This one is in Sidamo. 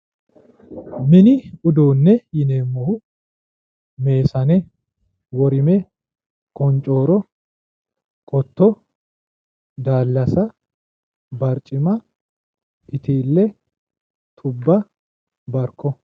mini uduunne yineemmohu meesane worime qoncooro qotto daallasa barcima itiille tubba barko.